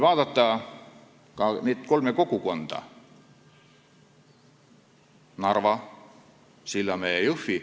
Vaatame neid kolme kogukonda: Narva, Sillamäe ja Jõhvi.